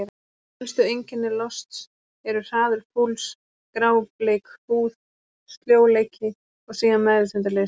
Helstu einkenni losts eru: hraður púls, grábleik húð, sljóleiki og síðan meðvitundarleysi.